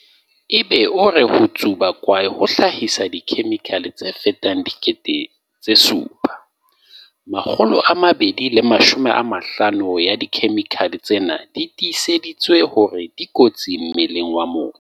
Egbe o re ho tsuba kwae ho hlahisa dikhe-mikhale tse fetang 7 000, 250 ya dikhemikhale tsena di tiiseditswe hore di kotsi mmeleng wa motho.